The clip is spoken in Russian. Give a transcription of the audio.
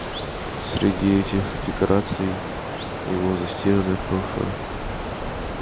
среди этих декораций его застиранное прошлое